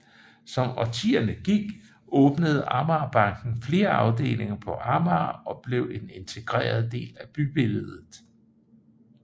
Som årtierne gik åbnede Amagerbanken flere afdelinger på Amager og blev en integreret del af bybilledet